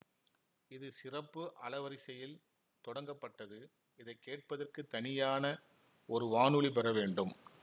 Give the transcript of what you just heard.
இது சிறப்பு அலவரிசையில் தொடங்கப்பட்டது இதை கேட்பதற்கு தனியான ஒரு வானொலி பெற வேண்டும்